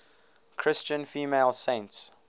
christian female saints